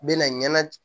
Bɛ na ɲɛna